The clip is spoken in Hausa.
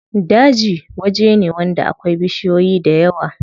Daji waje ne wanda akwai bishiyoyi dayawa.